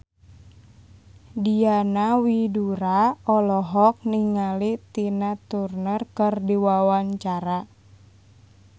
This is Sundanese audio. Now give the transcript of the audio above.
Diana Widoera olohok ningali Tina Turner keur diwawancara